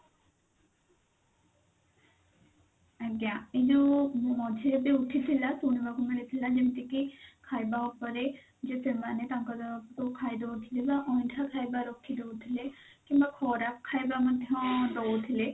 ଆଜ୍ଞା ଏଇ ଯଉ ମଝିରେ ଯଉ ଉଠିଥିଲା ଯେମତି କି ଖାଇବା ଉପରେ ଯଉ ସେମାନେ ତାଙ୍କର ଯଉ ଖାଇଦଉଥିଲେ ନା ଅଇଣ୍ଠା ଖାଇବା ରଖିଦଉଥିଲେ କିମ୍ବା ଖରାପ ଖାଇବା ମଧ୍ୟ ଦଉଥିଲେ